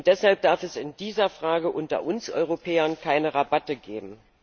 Deshalb darf es in dieser Frage unter uns Europäern keine Rabatte geben.